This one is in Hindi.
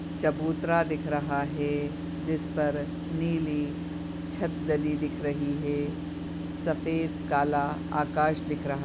चबूतरा दिख रहा है जिसपर नीली छत डली दिख रही है। सफ़ेद काला आकाश दिख रहा --